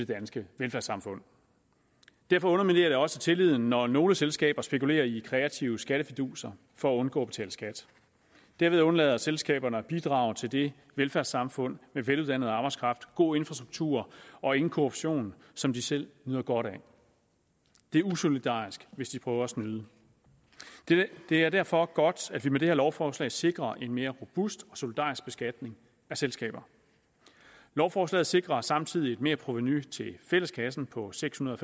danske velfærdssamfund derfor underminerer det også tilliden når nogle selskaber spekulerer i kreative skattefiduser for at undgå at betale skat derved undlader selskaberne at bidrage til det velfærdssamfund med veluddannet arbejdskraft god infrastruktur og ingen korruption som de selv nyder godt af det er usolidarisk hvis de prøver at snyde det er derfor godt at vi med det her lovforslag sikrer en mere robust og solidarisk beskatning af selskaber lovforslaget sikrer samtidig et merprovenu til fælleskassen på seks hundrede